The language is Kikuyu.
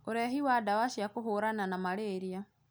Ũrehi wa dawa cia kũhũrana na malaria